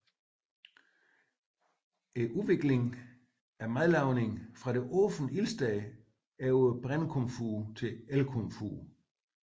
Madlavningens udvikling fra det åbne ildsted over brændekomfur til elkomfur